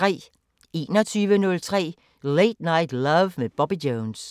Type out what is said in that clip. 21:03: Late Night Love med Bobby Jones